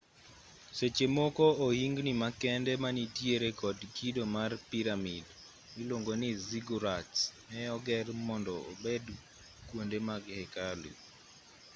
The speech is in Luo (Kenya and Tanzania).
seche moko ohingni makende manitiere kod kido mar piramid miluongo ni ziggurats ne oger mondo obed kwonde mag hekalu